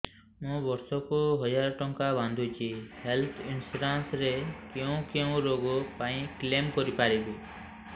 ମୁଁ ବର୍ଷ କୁ ହଜାର ଟଙ୍କା ବାନ୍ଧୁଛି ହେଲ୍ଥ ଇନ୍ସୁରାନ୍ସ ରେ କୋଉ କୋଉ ରୋଗ ପାଇଁ କ୍ଳେମ କରିପାରିବି